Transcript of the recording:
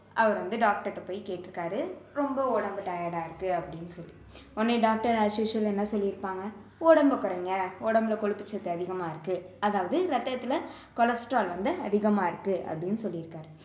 அவரு வந்து doctor ட்ட போய் கேட்டுருக்காரு ரொம்ப உடம்பு tired ஆ இருக்கு அப்படின்னு சொல்லி உடனே doctor as usual என்ன சொல்லிருப்பாங்க உடம்பை குறைங்க உடம்புல கொழுப்பு சத்து அதிகமா இருக்கு அதாவது ரத்தத்துல cholesterol வந்து அதிகமா இருக்கு அப்படின்னு சொல்லிருக்காரு